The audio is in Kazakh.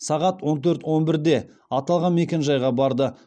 сағат он төрт он бірде аталған мекенжайға барды